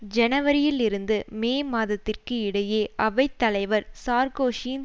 ஜனவரியில் இருந்து மே மாதத்திற்கு இடையே அவை தலைவர் சார்க்கோசியின்